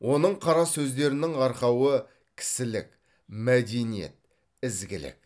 оның қара сөздерінің арқауы кісілік мәдениет ізгілік